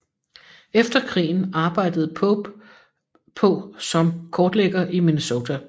Efter krigen arbejdede Pope på som kortlægger i Minnesota